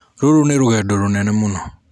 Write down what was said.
Rũrũ nĩ rũgendo rũnene mũno.